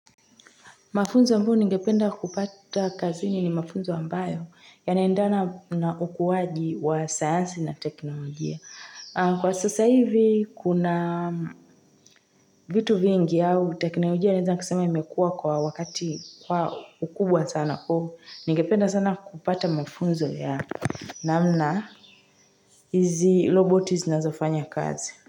Mafunzo ambayo ningependa kupata kazini ni mafunzo ambayo yanaendana na ukuaji wa sayansi na teknolojia. Kwa sasa hivi kuna vitu vingi au teknolojia waeza kusema imekua kwa wakati kwa ukubwa sana po. Ningependa sana kupata mafunzo ya namna hizi roboti zinazofanya kazi.